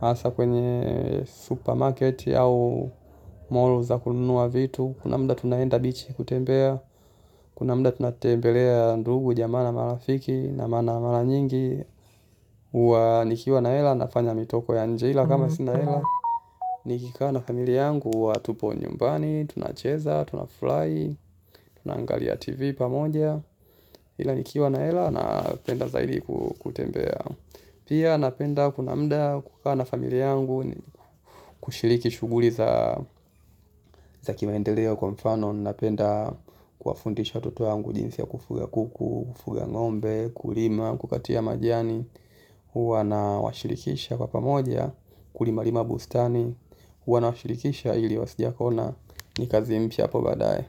Hasa kwenye supermarket au mall za kununua vitu. Kuna muda tunaenda bichi kutembea. Tukiwa na muda tunatembelea ndugu, jamii na marafiki na mara nyingi huwa nikiwa na hela, nafanya mitoko ya nje kama sina hela. Nikikaa na familia yangu huwa tupo nyumbani, tunacheza, tunafurahi, tunaangalia TV pamoja. Ila nikiwa na hela, napenda zaidi kutembea. Pia napenda kuna muda wa kukaa na familia yangu, kushiriki shughuli za kimaendeleo, kwa mfano napenda kuwafundisha watoto wangu jinsi ya kufuga kuku, kufuga ng'ombe, kulima, kukata majani. Huwa nawashirikisha kwa pamoja kulima lima bustani. Huwa nawashirikisha ili wasidiakone. Ni kazi mpya hapo baadaye.